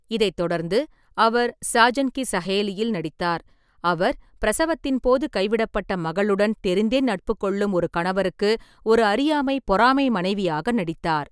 இதைத் தொடர்ந்து, அவர் சாஜன் கி சஹேலியில் நடித்தார், அவர் பிரசவத்தின் போது கைவிடப்பட்ட மகளுடன் தெரிந்தே நட்பு கொள்ளும் ஒரு கணவருக்கு ஒரு அறியாமை, பொறாமை மனைவியாக நடித்தார்.